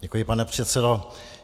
Děkuji, pane předsedo.